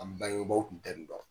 An bangebaw kun tɛ nin dɔn.